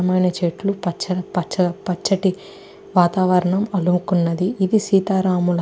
దట్టమైన చెట్లు పచ్చ పచ్చ పచ్చటి వాతావరణం అలుముకున్నది. ఇది సీతారాముల --